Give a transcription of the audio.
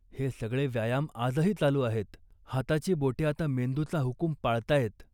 हे सगळे व्यायाम आजही चालू आहेत. हाताची बोटे आता मेंदूचा हुकूम पाळताहेत